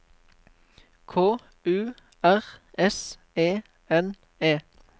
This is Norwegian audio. K U R S E N E